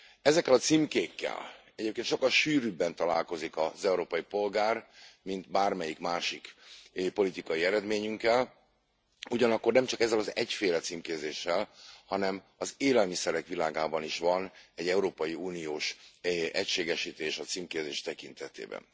Ezekkel a címkékkel egyébként sokkal sűrűbben találkozik az európai polgár, mint bármelyik másik politikai eredményünkkel, ugyanakkor nem csak ezzel az egyféle címkézéssel, hanem az élelmiszerek világában is van egy európai uniós egységesítés a címkézés tekintetében.